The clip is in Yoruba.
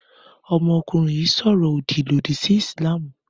Ọmọkùnrin yìí sọ̀rọ̀ òdì lòdì sí Ìsìlámù.